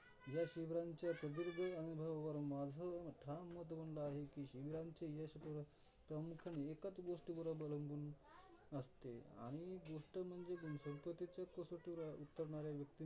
या शिबिरांच्या प्रदीर्घ अनुभवांवरून माझ ठाम मत बनल आहे की, शिबिरांचे यश हे कमीतकमी एकच गोष्टीवर अवलंबून असते आणि गोष्ट म्हणजे संपत्तीच्या कसोटीवर उतरणाऱ्या व्यक्ती